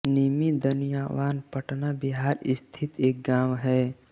निमी दनियावान पटना बिहार स्थित एक गाँव है